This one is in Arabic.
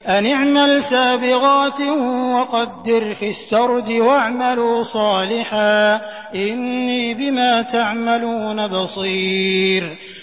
أَنِ اعْمَلْ سَابِغَاتٍ وَقَدِّرْ فِي السَّرْدِ ۖ وَاعْمَلُوا صَالِحًا ۖ إِنِّي بِمَا تَعْمَلُونَ بَصِيرٌ